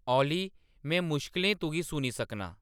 ऑली. में मुश्कलें तुगी सूनी सकनां